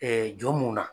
jɔn mun na